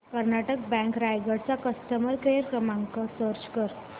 Karnataka bank Raigad चा customer care क्रमांक search कर